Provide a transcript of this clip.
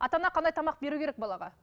ата ана қандай тамақ беру керек балаға